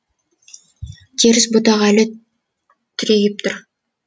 теріс бұтақ әлі түрегеп тұр